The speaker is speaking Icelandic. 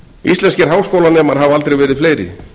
íslenskir háskólanemar hafa aldrei verið fleiri